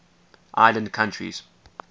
island countries